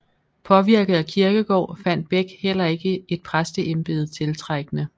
Påvirket af Kierkegaard fandt Beck heller ikke et præsteembede tiltrækkende